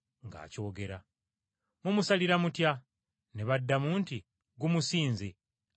Mumusalira mutya?” Ne baddamu nti, “Gumusinze! Asaanidde kufa!”